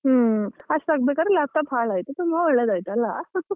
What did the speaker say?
ಹೂಂ, ಅಷ್ಟಾಗಬೇಕಾದ್ರೆ laptop ಹಾಳಾಯ್ತು ತುಂಬಾ ಒಳ್ಳೆದಾಯ್ತಲ್ಲ .